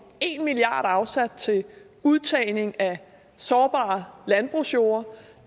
en milliard kroner afsat til udtagning af sårbar landbrugsjord